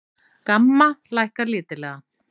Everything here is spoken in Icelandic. GAMMA lækkar lítillega